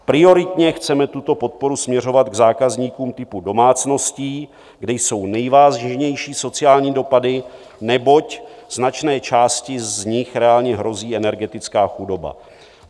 Prioritně chceme tuto podporu směřovat k zákazníkům typu domácností, kde jsou nejvážnější sociální dopady, neboť značné části z nich reálně hrozí energetická chudoba.